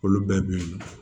Olu bɛɛ bɛ